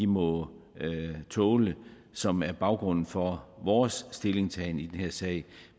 må tåle som er baggrunden for vores stillingtagen i den her sag